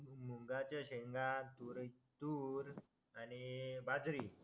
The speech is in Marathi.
मुगडाळच्या शेंगा तूर आणि बाजरी